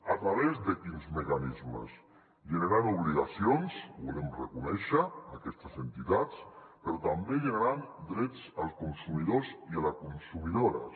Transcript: a través de quins mecanismes generant obligacions ho volem reconèixer a aquestes entitats però també generant drets als consumidors i a les consumidores